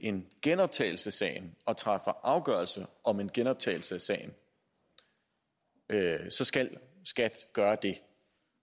en genoptagelse af sagen og træffer afgørelse om en genoptagelse af sagen så skal skat gøre det